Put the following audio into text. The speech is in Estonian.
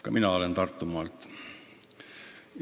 Ka mina olen Tartumaalt.